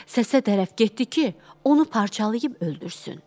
Səsə tərəf getdi ki, onu parçalayıb öldürsün.